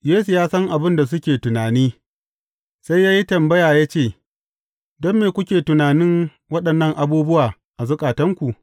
Yesu ya san abin da suke tunani, sai ya yi tambaya ya ce, Don me kuke tunanin waɗannan abubuwa a zukatanku?